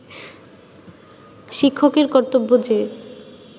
শিক্ষকের কর্তব্য যে